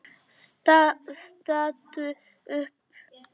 Stattu upp!